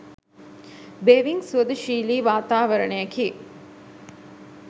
බෙහෙවින් සුහදශීලී වාතාවරණයකි.